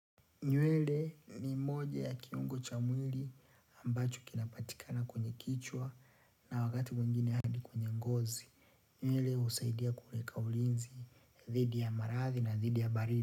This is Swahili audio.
Nywele ni moja ya kiungo cha mwili ambacho kinapatikana kwenye kichwa na wakati mwingine hadi kwenye ngozi. Nywele husaidia kuweka ulinzi dhidi ya marathi na dhidi ya baridi.